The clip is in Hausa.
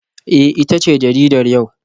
Eh ita ce jaridar yau